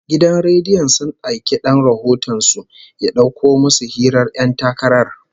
Gidan rediyon sun aiki dan rahoton su ya dauko musu hirar ƴan takarar